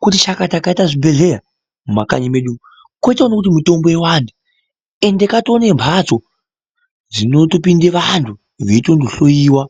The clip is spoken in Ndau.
Kuti chakata kwaita zvibhedhlera mumakanyi mwedumu kochiona kuti mitombo iwande ende katoonembatso dzinotopinde vantu veitondohloyiwa